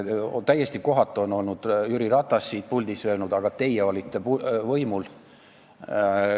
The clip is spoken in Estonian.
Täiesti kohatult on Jüri Ratas siit puldist öelnud, et aga teie olite võimul.